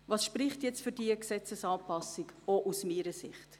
Was spricht jetzt für diese Gesetzesanpassung, auch aus meiner Sicht?